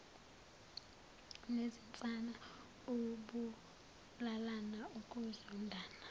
nezinsana ukubulalana ukuzondana